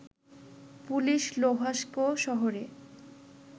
police Luhansk শহরে